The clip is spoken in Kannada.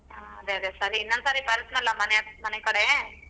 ಹಾ ಅದೆ ಅದೆ ಸರಿ ಇನ್ನೊಂದ್ ಸರಿ ಬರ್ತಿನಾಲ ಮನೆಕಡೆ.